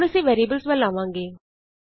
ਹੁਣ ਅਸੀਂ ਵੈਰੀਐਬਲਸ ਵਲ ਆਵਾਂਗੇ